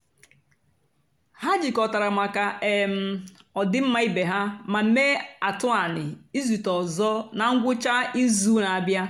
ha jịkọtàra maka um ọdị́mmá ìbè ha mà meé àtụ̀anị̀ ìzùtè ọzọ́ na ngwụ́cha ìzùù na-àbịa.